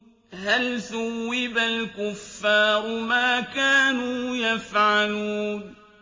هَلْ ثُوِّبَ الْكُفَّارُ مَا كَانُوا يَفْعَلُونَ